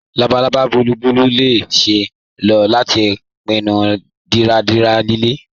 Labalaba bùlùù lè ṣeé ló lati pínnú dídárà ilẹ̀.